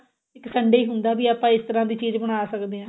ਇੱਕ Sunday ਹੀ ਹੁੰਦਾ ਵੀ ਆਪਾਂ ਇਸ ਤਰ੍ਹਾਂ ਦੀ ਚੀਜ਼ ਬਣਾ ਸਕਦੇ ਆ